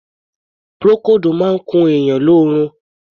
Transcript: Procold máa ń kun èèyàn ni oorun.